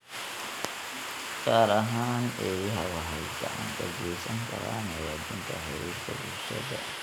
gaar ahaan eeyaha, waxay gacan ka geysan karaan hagaajinta xiriirka bulshada.